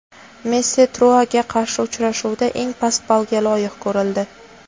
Messi "Trua"ga qarshi uchrashuvda eng past ballga loyiq ko‘rildi.